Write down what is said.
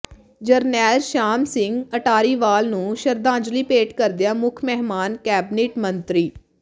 ਜਰਨੈਲ ਸ਼ਾਮ ਸਿੰਘ ਅਟਾਰੀਵਾਲਾ ਨੂੰ ਸ਼ਰਧਾਂਜਲੀ ਭੇਂਟ ਕਰਦਿਆਂ ਮੁੱਖ ਮਹਿਮਾਨ ਕੈਬਨਿਟ ਮੰਤਰੀ ਸ